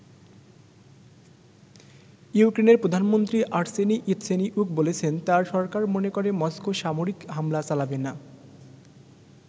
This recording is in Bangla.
ইউক্রেনের প্রধানমন্ত্রী আর্সেনি ইয়াতসেনিউক বলেছেন তার সরকার মনে করে মস্কো সামরিক হামলা চালাবে না।